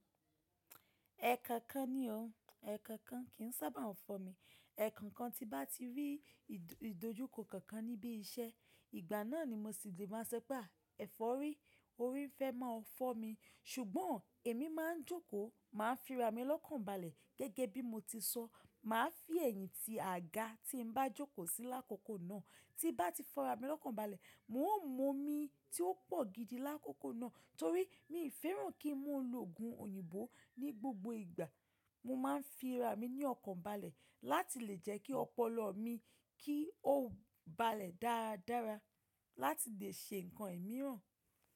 Ẹkankan ni ọ. Ẹkankan kì ń sábà fọ́ mi. Ẹkankan tí bá ti rí ìdojúkọ kankan níbi iṣẹ́, ìgbà náà ni mo sì lè máa sọ pé, “Ẹ fọ́ rí. Orí ń fẹ́ máa fọ́ mi.” Ṣùgbọ́n èmi máa ń jókòó, màá fi ara mi lọ́kàn balẹ̀ gẹ́gẹ́ bí mo ti sọ. Màá fi ẹ̀yìn ti àga tí ń bá jókòó sí i lákòókò náà. Tí bá ti fọ́ ara mi lọ́kàn balẹ̀, mo ń mú omi tí ó pọ̀ gidi lákòókò náà torí mi ò fẹ́ràn kí n máa ń lo òògùn òyìnbó ní gbogbo ìgbà. Mo ma ń fi ara mi ní ọ̀kan balẹ̀ láti lè jẹ́ kí ọpọlọ mi kí ó balẹ̀ dáradára láti lè ṣe nǹkan imiràn.